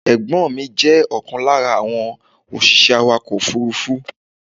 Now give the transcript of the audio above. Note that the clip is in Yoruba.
Ẹ̀gbọ́n mi jẹ́ ọ̀kan lára àwọn òṣìṣẹ́ awàkọ̀ òfúrúfú.